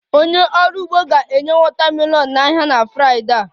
Onye ọrụ ugbo ga-enye watermelon n'ahịa na Fraịdee a